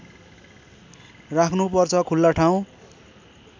राख्नुपर्छ खुल्ला ठाउँ